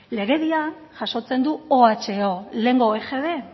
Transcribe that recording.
legediak jasotzen du oho lehengo egb